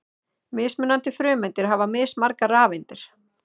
Mismunandi frumeindir hafa mismargar rafeindir.